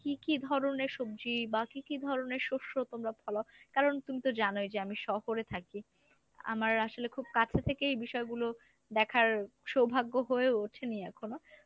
কী কী ধরনের সবজি বা কী কী ধরনের শস্য তোমরা ফলাও? কারণ তুমি তো জানোই যে আমি শহরে থাকি, আমার আসলে খুব কাছে থেকেই বিষয়গুলো দেখার সৌভাগ্য হয়ে ওঠেনি এখনো।